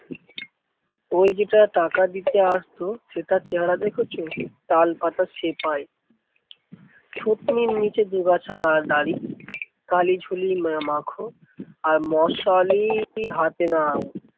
ওই যেটা টাকা দিতে আসতো সেটা চেহারা দেখেছো? তালপাতার সেপাই। থুতনির নিচে দুগাছা গা দাড়ি, কালী ঝুলি মাখো আর মশালই হাতে নাও।